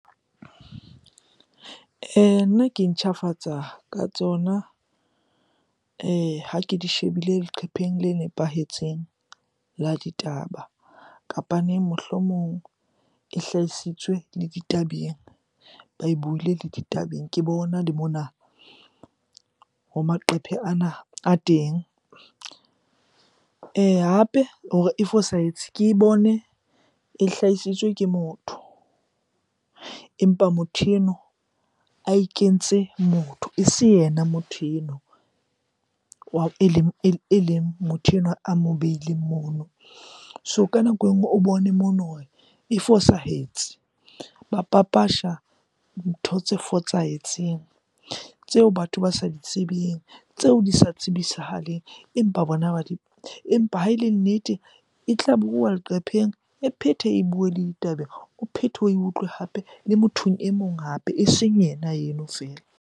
Nna ke intjhafatsa ka tsona ha ke di shebile leqhepheng le nepahetseng la ditaba. Kapaneng mohlomong e hlahisitswe le ditabeng, ba e buile le ditabeng. Ke bona le mona ho maqephe ana a teng. Hape hore e fosahetse, ke e bone e hlahisitswe ke motho empa motho eno a ikentse motho. Ese yena motho eno e leng motho enwa a mo beileng mon. So ka nako e nngwe o bone mono hore e fosahetse. Ba papasha ntho tse fosahetseng tseo batho ba sa di tsebeng, tseo di sa tsebisahaleng, empa bona ba . Empa ha e le nnete, e tla bua leqepheng, e phethe e bue le ditabeng, o phethe oe utlwe hape le mothong e mong hape, eseng ena eno feela.